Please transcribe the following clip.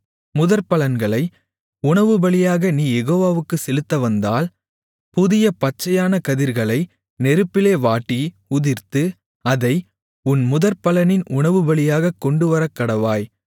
முதற்பலன்களை உணவுபலியாக நீ யெகோவாவுக்குச் செலுத்தவந்தால் புதிய பச்சையான கதிர்களை நெருப்பிலே வாட்டி உதிர்த்து அதை உன் முதற்பலனின் உணவுபலியாகக் கொண்டுவரக்கடவாய்